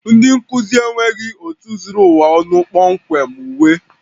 Ndị nkuzi enweghị otu zuru ụwa ọnụ kpọmkwem uwe